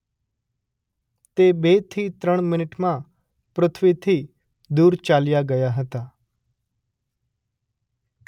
તે બેથી ત્રણ મિનિટમાં પૃથ્વીથી દૂર ચાલ્યાં ગયા હતાં.